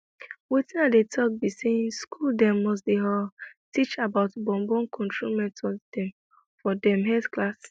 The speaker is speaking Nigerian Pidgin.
wetin i dey talk be saying school dem must dey huhh teach about born born control method dem for dem health class